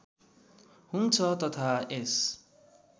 हुन्छ तथा यस